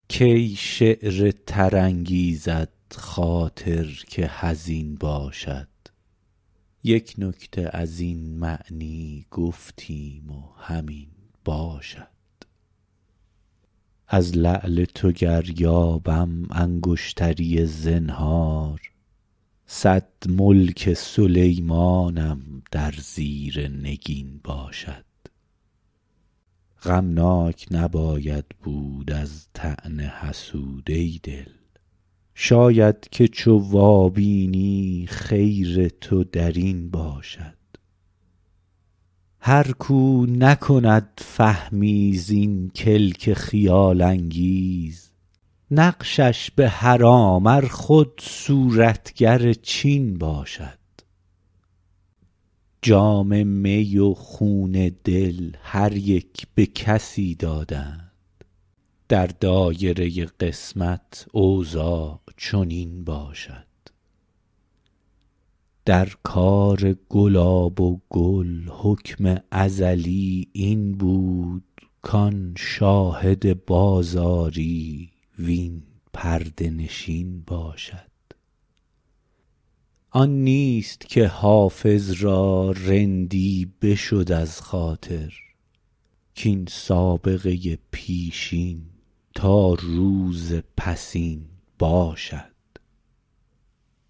کی شعر تر انگیزد خاطر که حزین باشد یک نکته از این معنی گفتیم و همین باشد از لعل تو گر یابم انگشتری زنهار صد ملک سلیمانم در زیر نگین باشد غمناک نباید بود از طعن حسود ای دل شاید که چو وابینی خیر تو در این باشد هر کاو نکند فهمی زین کلک خیال انگیز نقشش به حرام ار خود صورتگر چین باشد جام می و خون دل هر یک به کسی دادند در دایره قسمت اوضاع چنین باشد در کار گلاب و گل حکم ازلی این بود کاین شاهد بازاری وان پرده نشین باشد آن نیست که حافظ را رندی بشد از خاطر کاین سابقه پیشین تا روز پسین باشد